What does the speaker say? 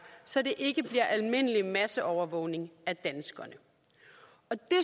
så det ikke bliver almindelig masseovervågning af danskerne det